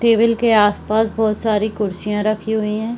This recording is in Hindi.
टेबल के आस-पास बहुत सारी कुर्सीयां रखी हुई हैं।